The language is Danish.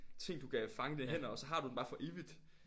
Ting du kan fange med dine hænder og så har du den bare for evigt